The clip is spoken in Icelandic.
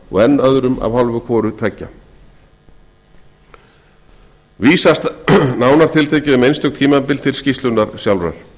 og enn öðrum af hálfu hvorra tveggju vísast nánar tiltekið um einstök tímabil til skýrslunnar sjálfrar